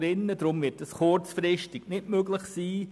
Deshalb wird dies kurzfristig nicht möglich sein.